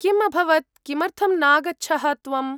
किम् अभवत्, किमर्थं नागच्छः त्वम्?